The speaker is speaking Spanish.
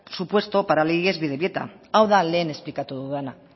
supuesto para el ies bidebieta hau da lehen esplikatu dudana